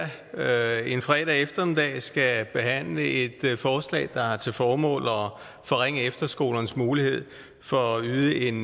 en fredag eftermiddag skal behandle et forslag der har til formål at forringe efterskolernes mulighed for at yde en